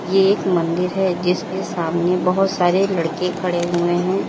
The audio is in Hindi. ये एक मंदिर है जिसके सामने बहोत सारे लड़के खड़े हुए है।